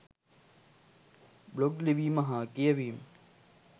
Blog ලිවීම හා කියවීම .